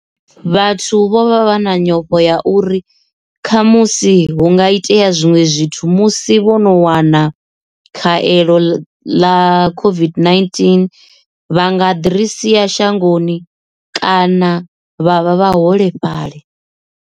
Vhathu vho vha vha na nyofho ya uri kha musi hu nga itea zwinwe zwithu musi vho no wana khavhelo ḽa COVID-19 vha nga diresi ya shangoni kana vha vha vhaholefhali.